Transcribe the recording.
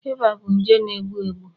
Iba bụ nje na egbu egbu